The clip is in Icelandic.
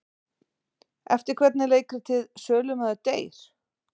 Eftir hvern er leikritið Sölumaður deyr?